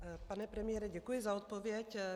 Pane premiére, děkuji za odpověď.